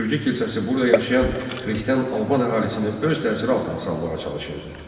Gürcü kilsəsi burada yaşayan xristian Alban əhalisini öz təsiri altına salmağa çalışırdı.